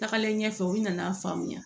Tagalen ɲɛfɛ u nana a faamuya